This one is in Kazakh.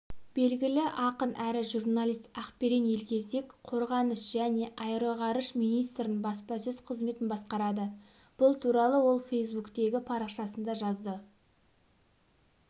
белгілі ақын әрі журналист ақберен елгезек қорғаныс және аэроғарыш министрінің баспасөз қызметін басқарады бұл туралы ол фейсбуктегі парақшасында жазды